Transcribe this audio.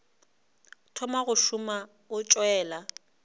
thoma go šoma o tšwela